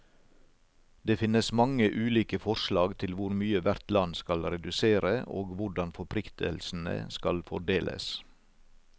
Det finnes mange ulike forslag til hvor mye hvert land skal redusere, og hvordan forpliktelsene skal fordeles.